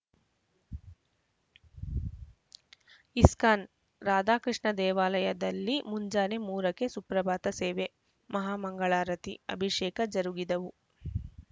ISKCON Radha Krishna ದೇವಾಲಯದಲ್ಲಿ ಮುಂಜಾನೆ ಮೂರಕ್ಕೆ ಸುಪ್ರಭಾತ ಸೇವೆ ಮಹಾಮಂಗಳಾರತಿ ಅಭಿಷೇಕ ಜರುಗಿದವು